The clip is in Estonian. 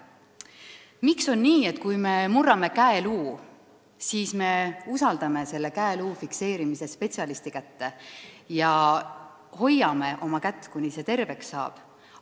Miks on nii, et kui me murrame käeluu, siis me usaldame selle käeluu fikseerimise spetsialisti kätte ja hoiame oma kätt, kuni see terveks saab?